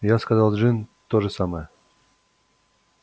я сказал джин то же самое